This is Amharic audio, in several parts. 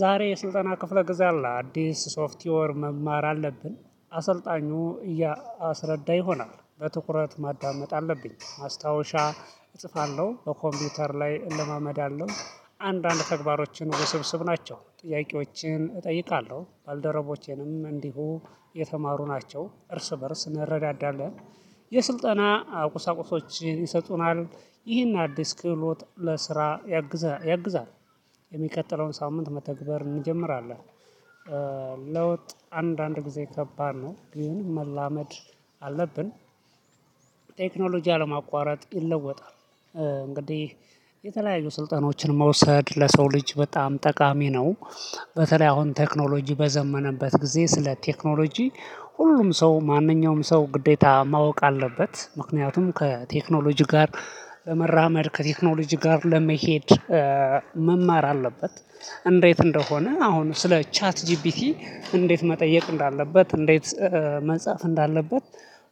ዛሬ የስልጠና ክፍለ ጊዜ አለ አዲስ ሶፍትዮር መማር አለብን። አሰልጣኙ እያስረዳ ይሆናል በትኩረት ማዳመጥ አለብኝ ማስታወሻ እጽፋለሁ በኮምፒውተር ላይ እለማመዳለሁ። አንድ አንድ ተግባሮችን ውስብስብ ናቸው ጥያቄዎችን እጠይቃለሁ ባልደረቦቼንም እንዲሁ የተማሩ ናቸው እርስ በእርስ እንረዳዳለን። የስልጠና ቁሳቁሶችን ይሰጡናል። ይህን አዲስ ክህሎት ለስራ ያግዛል። የሚቀጥለውን ሳምንት መተግበር እንጀምራለን። ለውጥ አንድ አንድ ጊዜ ከባድ ነው ግን መላመድ አለብን። ቴክኖሎጂ አለማቋረጥ ይለወጣል። እንግዲህ የተለያዩ ስልጠኖችን መውሰድ ለሰው ልጅ በጣም ጠቃሚ ነው። በተለይ አሁን ቴክኖሎጂ በዘመነበት ጊዜ ስለ ቴክኖሎጂ ሁሉም ሰው ማንኛውም ሰው ግዴታ ማወቅ አለበት። ምክንያቱም ከቴክኖሎጂ ጋር ለመራመድ ከቴክኖሎጂ ጋር ለመሄድ መማር አለበት። እንዴት እንደሆነ አሁን ስለ ቻት ጂፒቲ እንዴት መጠየቅ እንዳለበት እንዴት መጻፍ እንዳለበት።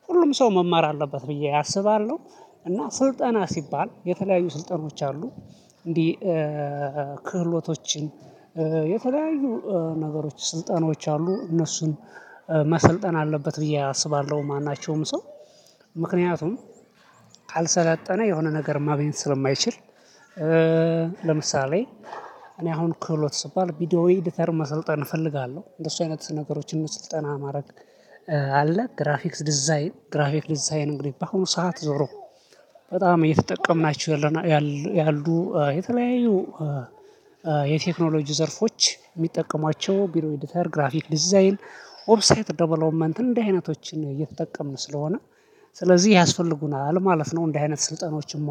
ሁሉም ሰው መማር አለበት ብዬ አስባለሁ። እና ስልጠና ሲባል የተለያዩ ስልጠናዎች አሉ። እንዲህ ክህሎቶችን የተለያዩ ነገሮች ስልጠናዎች አሉ እነሱን መሰልጠን አለበት ብዬ አስባለሁ። ማናቸውም ሰው ምክንያቱም ካልሰለጠነ የሆነ ነገር ማግኘት ስለማይችል። ለምሳሌ እኔ አሁን ክህሎት ስባል ቪዲዮ ኤዲተር መሰልጠን እፈልጋለሁ እንደሱ አይነት ነገሮችን ስልጠና ማድረግ። አለ ግራፊክስ ዲዛይን ግራፊክስ ዲዛይን እንግዲህ በአሁኑ ሰዓት ዞሮ በጣም እየተጠቀምናችሁ ያሉ የተለያዩ የቴክኖሎጂ ዘርፎች የሚጠቀሟቸው ቪድዮ ኤዲተር ግራፊክ ዲዛይን ዌብሳይት ደቨሎፕመንት እንዲህ አይነቶችን እየተጠቀምን ስለሆነ ስለዚህ ያስፈልጉናል ማለት ነው። እንደዚህ አይነት ስልጠናዎችም